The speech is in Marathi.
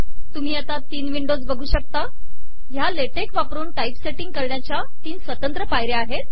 तुम्ही आता तीन विंडोज बघू शकता ः या ला टेक वापरून टाईपसेटींग करण्याच्या तीन स्वतंत्र पायऱ्या आहेत